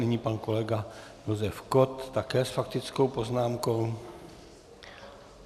Nyní pan kolega Josef Kott také s faktickou poznámkou.